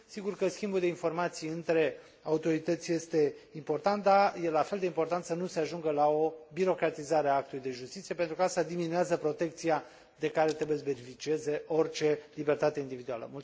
sigur că schimbul de informații între autorități este important, dar este la fel de important să nu se ajungă la o birocratizare a actului de justiție, pentru că aceasta diminuează protecția de care trebuie să beneficieze orice libertate individuală.